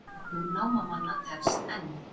Björgun námamanna tefst enn